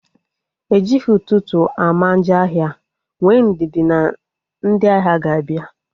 Ejighị ụtụtụ ama njọ ahịa, nwee ndidi na ndị ahịa ga-abịa